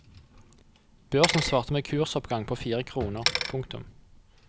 Børsen svarte med kursoppgang på fire kroner. punktum